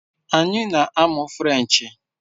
Anyị na-amụ Frenchee